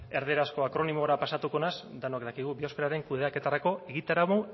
erderazko akronimora pasatuko naiz denok dakigu biosferaren kudeaketarako egitarau